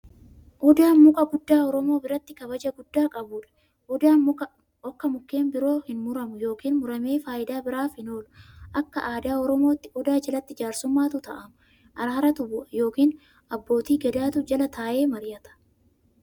Odaan muka guddaa oromoo biratti kabaja guddaa qabuudha. Odaan akka mukkeen biroo hinmuramu yookiin muramee faayidaa biraaf hin oolu. Akka aadaa oromootti, odaa jalatti jaarsummaatu taa'ama, araaratu bu'a yookiin abbootii gadaatu jala taa'e mari'ata.